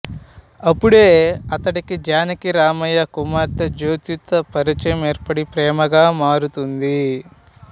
అప్పుడే అతడికి జానకిరామయ్య కుమార్తె జ్యోతితో పరిచయం ఏర్పడి ప్రేమగా మారుతుంది